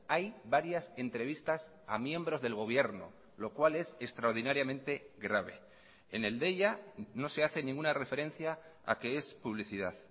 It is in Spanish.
hay varias entrevistas a miembros del gobierno lo cual es extraordinariamente grave en el deia no se hace ninguna referencia a que es publicidad